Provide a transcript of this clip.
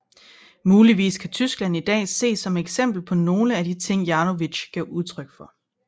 Muligvis kan Tyskland i dag ses som et eksempel på nogle af de ting Janowitz gav udtryk for